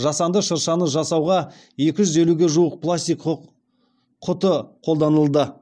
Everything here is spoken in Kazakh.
жасанды шыршаны жасауға екі жүз елуге жуық пластик құты қолданылды